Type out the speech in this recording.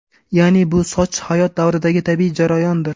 Ya’ni, bu soch hayot davridagi tabiiy jarayondir.